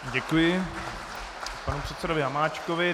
Děkuji panu předsedovi Hamáčkovi.